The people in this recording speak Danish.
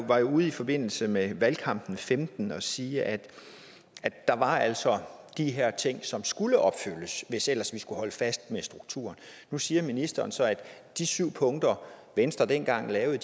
var jo ude i forbindelse med valgkampen femten at sige at der altså de her ting som skulle opfyldes hvis ellers vi skulle holde fast i strukturen nu siger ministeren så at de syv punkter venstre dengang lavede